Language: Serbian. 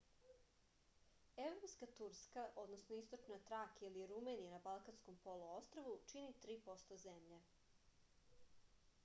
европска турска источна тракија или румелија на балканском полуострву чини 3% земље